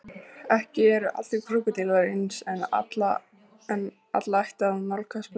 Ekki eru allir krókódílar eins en alla ætti að nálgast með varúð.